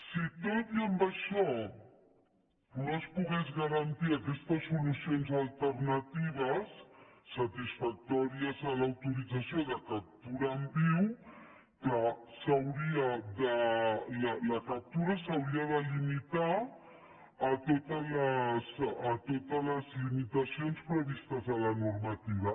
si tot i amb això no es poguessin garantir aquestes solucions alternatives satisfactòries a l’autorització de captura en viu clar la captura s’hauria de limitar a totes les limitacions previstes a la normativa